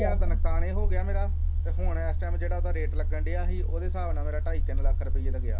ਨੁਕਸਾਨ ਇਹ ਹੋ ਗਿਆ ਮੇਰਾ ਅਤੇ ਹੁਣ ਇਸ ਟਾਈਮ ਜਿਹੜਾ ਉਹਦਾ ਰੇਟ ਲੱਗਣ ਡਿਆ ਸੀ ਉਹਦੇ ਹਿਸਾਬ ਨਾਲ ਮੇਰਾ ਢਾਈ ਤਿੰਨ ਲੱਖ ਰੁਪਈਏ ਦਾ ਗਿਆ।